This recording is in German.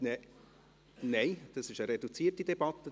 Nein, es ist eine reduzierte Debatte;